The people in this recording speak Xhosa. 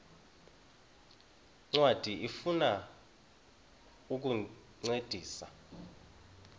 ncwadi ifuna ukukuncedisa